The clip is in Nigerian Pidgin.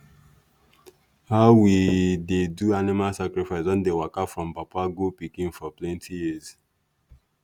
how we dey do animal sacrifice don dey waka from papa go pikin for plenty years.